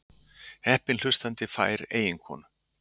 Heppinn hlustandi fær eiginkonu